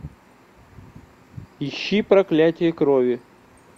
ищи проклятие крови